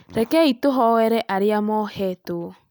Rekei tũhoere arĩa mohetwo